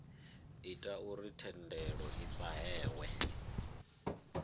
ita uri thendelo i fhahehwe